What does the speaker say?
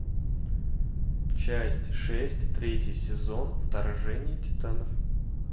часть шесть третий сезон вторжение титанов